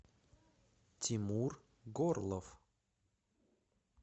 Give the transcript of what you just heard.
тимур горлов